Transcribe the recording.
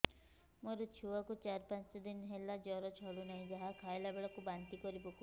ମୋ ଛୁଆ କୁ ଚାର ପାଞ୍ଚ ଦିନ ହେଲା ଜର ଛାଡୁ ନାହିଁ ଯାହା ଖାଇଲା ବେଳକୁ ବାନ୍ତି କରି ପକଉଛି